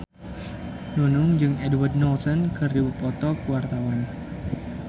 Nunung jeung Edward Norton keur dipoto ku wartawan